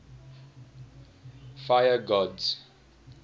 fire gods